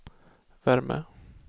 värme